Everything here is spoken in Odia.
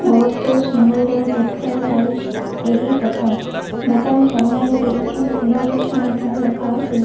ବହୁତ ସୁନ୍ଦର ଦେଖାଯାଉଛି ଏହି ଦୋକାନ ଦୋକାନ ସାମ୍ନାରେ ଦୁଇଟି ଫୁଲ ଗଛ ମଧ୍ଯ ରଖାହୋଇ --